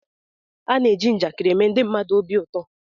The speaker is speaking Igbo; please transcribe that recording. A na-eji njakịrị eme ndị mmadụ obi ụtọ